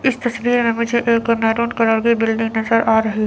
इस तस्वीर में मुझे एक मैरून कलर की बिल्डिंग नजर आ रही--